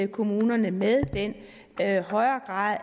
kommunerne med den højere grad